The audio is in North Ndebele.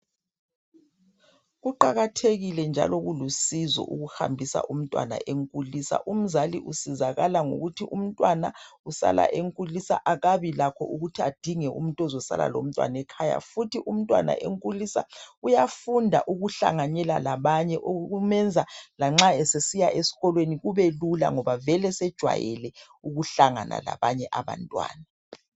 Kuqakathekile njalo kulusizo ukuhambisa umntwana enkulisa umzali usizakala ngokuthi umntwana usala enkulisa akabi lakho ukuthi adinge umuntu ozosala lomntwana ekhaya futhi umntwana enkulisa uyafunda ukuhlanganela labanye okumenza lanxa esesiya esikolweni kube lula ngoba vele sejwayele ukuhlangana labanye abantwana.